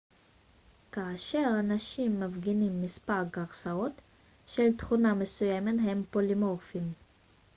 כאשר אנשים מפגינים מספר גרסאות של תכונה מסוימת הם פולימורפיים